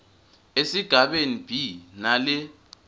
esigabeni b nale